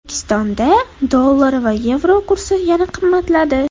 O‘zbekistonda dollar va yevro kursi yana qimmatladi.